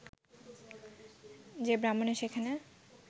যে ব্রাহ্মণের সেখানে